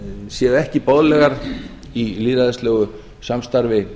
séu ekki boðlegar í lýðræðislegu samstarfi